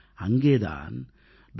அங்கே தான் டாக்டர்